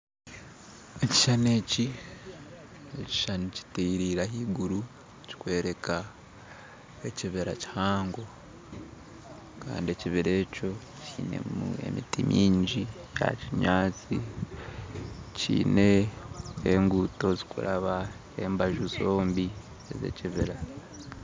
Ekishushani eki nekishushani kitereire ahaiguru kikworeka ekibira kihango Kandi ekibira ekyo kinemu emiti mingi ya kinyatsi kiine enguuto zirikuraba embazu zombi zekibira